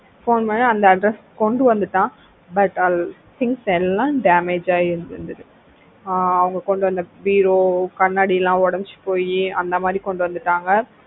phone பண்ணி அந்த address க்கு கொண்டு வந்துட்டான் but அதுல things எல்லாம் damage ஆயி இருந்திருக்கு அவங்க கொண்டு வந்த பீரோ கண்ணாடிலாம் உடைந்து போயி அந்த மாதிரி கொண்டு வந்துட்டாங்க